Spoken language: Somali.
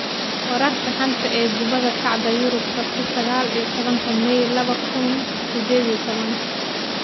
Wararka xanta ah ee Kubadda Cagta Yurub Sabti sagal iyo tobanka mai laba kuun iyo sided iyo tobaan: Mikel Arteta ayaa noqon doona tababaraha Arsenal?